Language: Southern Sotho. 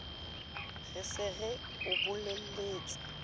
re se re o bolelletse